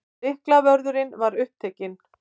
Lyklavörðurinn var upptekinn.